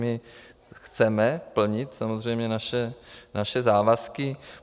My chceme plnit samozřejmě naše závazky.